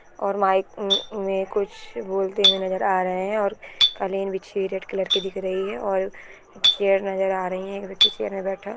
और माइक में कुछ बोलते हुए नजर आ रहैं है और कालीन बिछी हुई रेड कलर की दिख रही है और चैर नजर आ रही है एक व्यक्ति चैर मे बैठा --